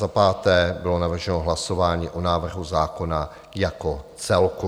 Za páté bylo navrženo hlasování o návrhu zákona jako celku.